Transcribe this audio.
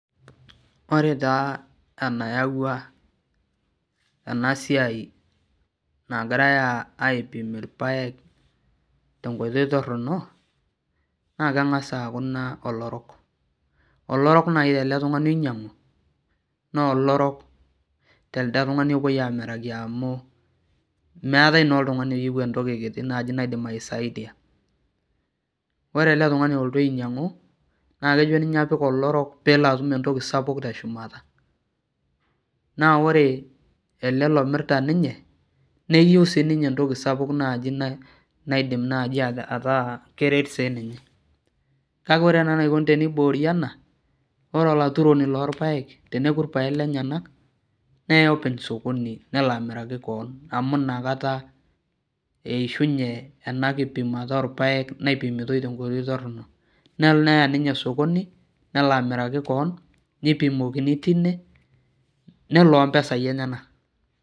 Ore taa enayaua ena siai nagirae aipim irpaek tenkoitoi torok naa kengas aaku ina olorok. olorok naaji tele tungani oinyangu naa olorok tolopuoi amiraki amu meetae naa oltungani iyieu entoki kiti naaji naidim aisaidia ,ore ele tungani olotu ainyangu naa kejo ninye apik olorok pee etum entoki sapuk teshumata naa ore ele omirta siininye neyieu entoki sapuk naaji naidim ataa keret siininye. kake ore naaji enikoni teniboori ena ore olaturoni lorpaek teneeku irpaek lenyenak neya openy sokoni nelo amiraki keon amu inakata eishunye ena kipimata orpaek naipimitae tenkoitoi toronok, nelo neya ninye sokoni nelo amiraki keon neipimokini tine nelo opmesai enyenak.